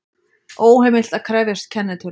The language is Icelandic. Óheimilt að krefjast kennitölu